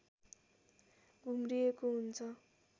घुम्रिएको हुन्छ